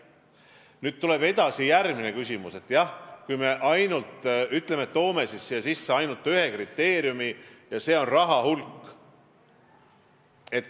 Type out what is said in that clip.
Nüüd edasi, järgmine küsimus on see, kui me toome siia sisse ainult ühe kriteeriumi: see on raha hulk.